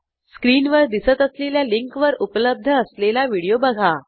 स्क्रीनवर दिसत असलेल्या लिंकवर उपलब्ध असलेला व्हिडिओ बघा